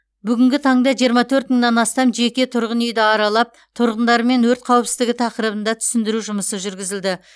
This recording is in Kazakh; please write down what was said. бүгінгі таңда жиырма төрт мыңнан астам жеке тұрғын үйді аралап тұрғындармен өрт қауіпсіздігі тақырыбында түсіндіру жұмысы жүргізілді